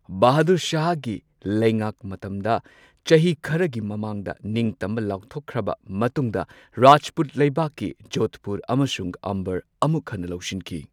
ꯕꯍꯥꯗꯨꯔ ꯁꯥꯍꯒꯤ ꯂꯩꯉꯥꯛ ꯃꯇꯝꯗ ꯆꯍꯤ ꯈꯔꯒꯤ ꯃꯃꯥꯡꯗ ꯅꯤꯡꯇꯝꯕ ꯂꯥꯎꯊꯣꯛꯈ꯭ꯔꯕ ꯃꯇꯨꯡꯗ ꯔꯥꯖꯄꯨꯠ ꯂꯩꯕꯥꯛꯀꯤ ꯖꯣꯙꯄꯨꯔ ꯑꯃꯁꯨꯡ ꯑꯝꯕꯔ ꯑꯃꯨꯛ ꯍꯟꯅ ꯂꯧꯁꯤꯟꯈꯤ꯫